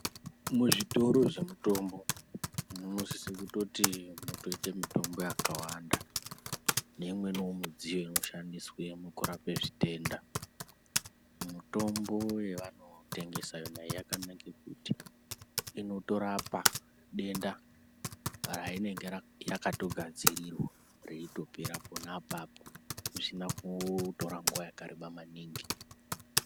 Muzvitoro zvemitombo munosisa kutoti mutoita mitombo yakawanda neimweniwo midziyo inoshandiswa kurapa zvitenda. Mitombo yavanotengesa yona iyoyo yakanaka kuti inotorapa denda rainenge yakatogadzirirwa reitopera pona apapo zvisina kutora nguwa yakareba maningi.